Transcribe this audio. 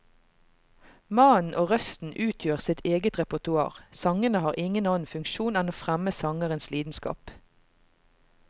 Mannen og røsten utgjør sitt eget repertoar, sangene har ingen annen funksjon enn å fremme sangerens lidenskap.